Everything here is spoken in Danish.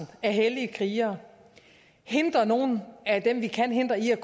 af hellige krigere og hindre nogle af dem vi kan hindre i at